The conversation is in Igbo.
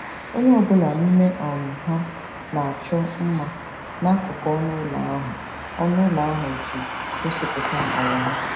Onye ọ bụla n'ime um ha na-achọ mma n'akụkụ ọnụ ụlọ ahụ ọnụ ụlọ ahụ iji gosipụta àgwà ha.